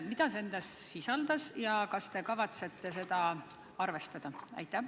Mida see sisaldas ja kas te kavatsete seda arvestada?